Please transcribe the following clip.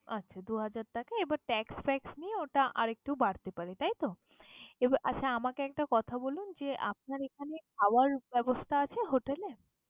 আচ্ছা দু হাজার টাকা এবং tax fax নিয়ে ওটা আরেকটু বাড়তে পারে তাই তো? এবার আচ্ছা আমাকে একটা কথা বলুন যে আপনার এখানে খাওয়ার ব্যবস্থা আছে hotel এ?